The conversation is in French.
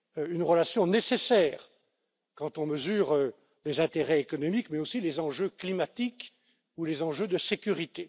Une relation nécessaire, quand on mesure les intérêts économiques, mais aussi les enjeux climatiques ou les enjeux de sécurité.